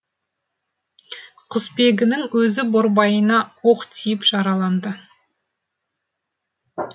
құсбегінің өзі борбайына оқ тиіп жараланды